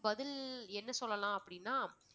பதில் என்ன சொல்லலாம் அப்படின்னா